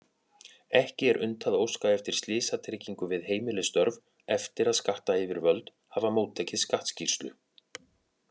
Ekki er unnt að óska eftir slysatryggingu við heimilisstörf eftir að skattayfirvöld hafa móttekið skattskýrslu.